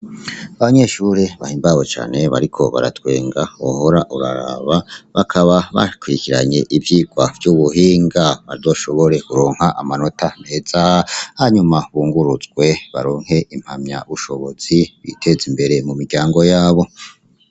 Abanyeshure bahimbawe cane bariko baratwenga wohora uraraba bakaba bakurikiranye ivyigwa vy'ubuhinga bazoshobore kuronka amanota meza hanyuma bunguruzwe baronke impamyabushobozi biteze imbere mu miryango yabo.